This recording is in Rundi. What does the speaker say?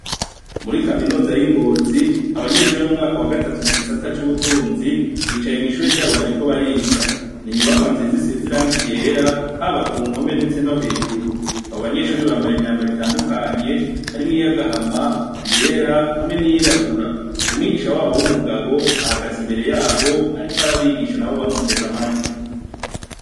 Murikaminuza yingozi abanyeshure bo mumwaka wa gatatu mugisata cubutunzi bicaye mwishure ryabo bariko bariga inyubakwa nziza risize irangi ryera haba kumpome ndetse nohejuru abo banyeshure bambaye imyambaro itandukanye harimwo iyagahama iyera hamwe niyirabura umwigisha wabo wumugabo ahagaze imbere yabo ariko arabigisha nabo bamuteze amatwi